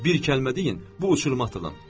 Bir kəlmə deyin, bu uçuruma atılın.